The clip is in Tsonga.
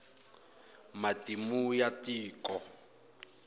matimu ya tiko